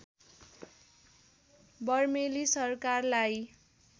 बर्मेली सरकारलाई